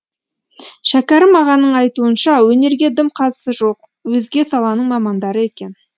шәкәрім ағаның айтуынша өнерге дым қатысы жоқ өзге саланың мамандары екен